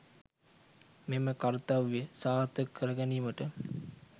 මෙම කර්තව්‍ය සාර්ථක කරගැනීමට